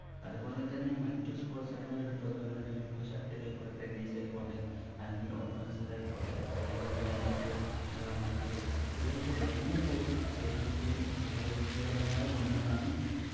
അതുപോലെ തന്നെ മറ്റു sports ഇനങ്ങൾ എടുത്തു നോക്കുന്നുണ്ടെങ്കിൽ ഇപ്പോ shuttle ആയിക്കോട്ടെ tennis ആയിക്കോട്ടെ അല്ലെങ്കിൽ ഓട്ട മത്സരം ആയിക്കോട്ടെ അല്ലെങ്കിൽ high jump long jump ഇതിലൊക്കെ വലിയ തോതിൽ ശരീരത്തിന് ആരോഗികപരമായ ഗുണങ്ങളാണ്